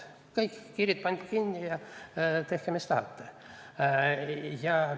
Kõik, piirid pandi kinni ja tehke mis tahate.